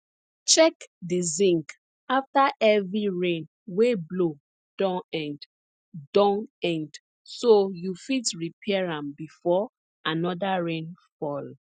check di zinc afta heavy rain wey blow don end don end so you fit repair am before anoda rain fall